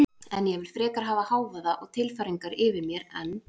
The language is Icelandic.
En ég vil frekar hafa hávaða og tilfæringar yfir mér en